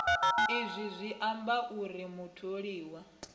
izwi zwi amba uri mutholiwa